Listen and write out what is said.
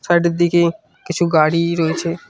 Side -এর দিকে কিছু গাড়ি রয়েছে।